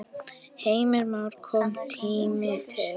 Heimir Már: Kominn tími til?